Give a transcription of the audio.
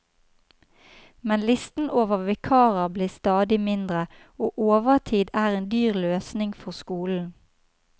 Men listen over vikarer blir stadig mindre, og overtid er en dyr løsning for skolen.